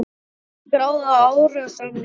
Er hún skráð á árásarmanninn?